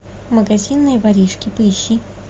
магазинные воришки поищи